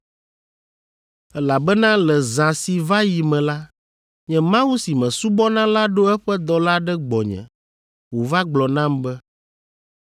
Elabena le zã si va yi me la, nye Mawu si mesubɔna la ɖo eƒe dɔla ɖe gbɔnye wòva gblɔ nam be,